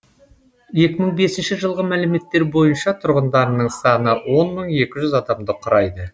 екі мың бесінші жылғы мәліметтер бойынша тұрғындарының саны он мың екі жүз адамды құрайды